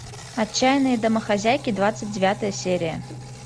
отчаяные домохозяйки двадцать девятая серия